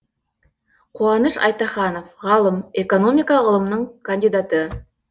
қуаныш айтаханов ғалым экономика ғылымының кандидаты